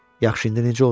Yaxşı, indi necə olsun?